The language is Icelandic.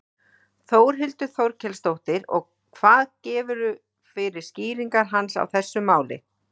Þórhildur Þorkelsdóttir: Og hvað gefurðu fyrir skýringar hans á þessu máli?